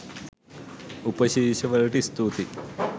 උපශීර්ෂ වලට ස්තුතියි